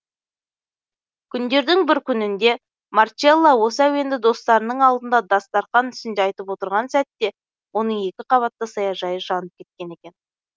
күндердің бір күнінде марчелло осы әуенді достарының алдында дастарқан үстінде айтып отырған сәтте оның екі қабатты саяжайы жанып кеткен екен